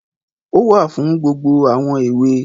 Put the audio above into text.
Ó wà fún gbogbo àwọn èwe.